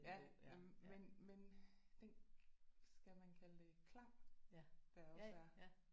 Ja men men den skal man kalde det klang der også er